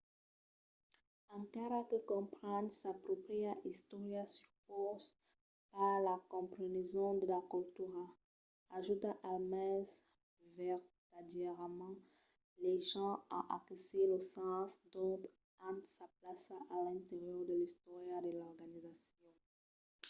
encara que comprendre sa pròpria istòria supause pas la compreneson de la cultura ajuda almens vertadièrament las gents a aquesir lo sens d’ont an sa plaça a l’interior de l’istòria de l’organizacion